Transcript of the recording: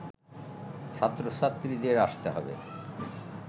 ছাত্রছাত্রীদের আসতে হবে